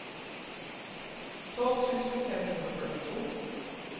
tolv tusen fem hundre og førtito